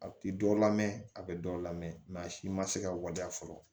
A ti dɔ la mɛn a bɛ dɔ lamɛn mɛ a si ma se ka waleya fɔlɔ